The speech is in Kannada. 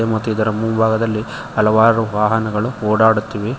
ಮತ್ತು ಇಲ್ಲಿ ಮುಂಭಾಗದಲ್ಲಿ ಹಲವಾರು ವಾಹನಗಳು ಓಡಾಡುತ್ತಿವೆ.